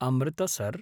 Amritsar